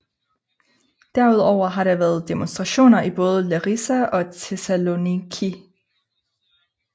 Derudover har der været demonstrationer i både Larisa og Thessaloniki